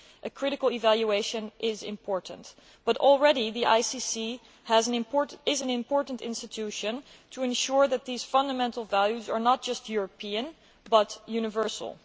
A critical evaluation is important, but the ICC is already an important institution in ensuring that these fundamental values are not just European but universal.